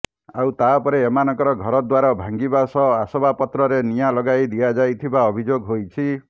ଆଉ ତାପରେ ଏମାନଙ୍କ ଘରଦ୍ୱାର ଭାଙ୍ଗିବା ସହ ଆସବାବପତ୍ରରେ ନିଆଁ ଲଗାଇ ଦିଆଯାଇଥିବା ଅଭିଯୋଗ ହୋଇଛି